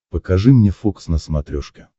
покажи мне фокс на смотрешке